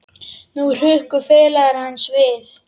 Nú hrukku félagar hans við.